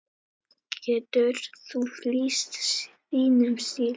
Getur þú lýst þínum stíl?